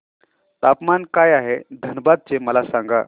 तापमान काय आहे धनबाद चे मला सांगा